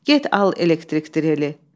Get al elektrik dreli.